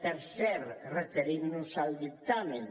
per cert referint nos al dictamen